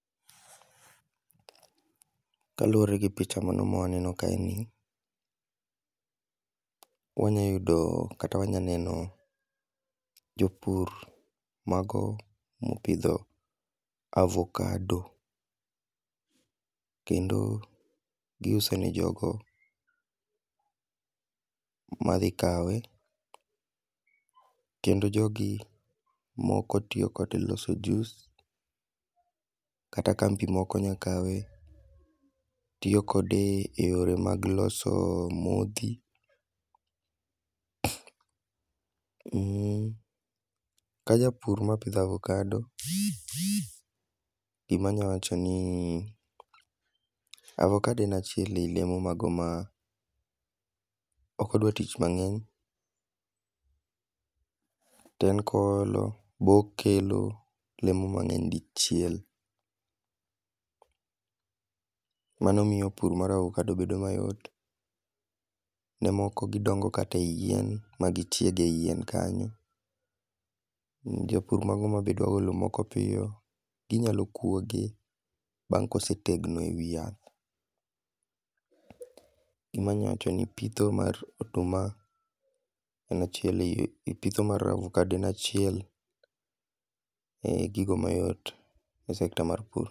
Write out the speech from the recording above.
Kaluwore gi picha mano ma waneno kae ni, wanyayudo kata wanyaneno jo pur mago mopidho avocado. Kendo giuse ne jogo ma dhi kawe. Kendo jogi moko tiyo kode loso juice, kata kambi moko nyakawe tiyo kode e yore mag loso modhi. um Ka japur mapidho avocado, gima anyalo wacho ni, avocado en achiel e olemo mago ma ok odwar tich mangény to en koolo, be okelo lemo mangény di chiel. Mano miyo pur mar avocado bedo mayot. Ne moko gidongo kata e yien ma gichieg e yien kanyo. Japur mago ma be dwa golo moko piyo, ginyalo kwoge, bang' ka osetegno e wi yath. Gima anyalo wacho ni pitho mar oduma en achiel ei, pitho mar avocado en achiel e gigo mayot e sector mar pur.